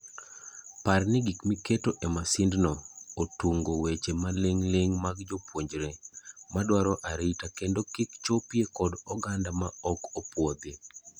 Par ni gik miketo e masindno otung'o weche maling'ling' mag jopuonjre, madwaro arita kendo kik chopie kod oganda maok opuodhi.